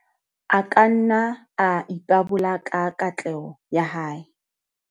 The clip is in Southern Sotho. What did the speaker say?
A ka nna a ipabola ka katleho ya hae.